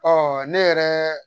ne yɛrɛ